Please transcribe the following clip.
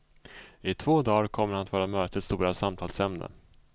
I två dagar kommer han att vara mötets stora samtalsämne.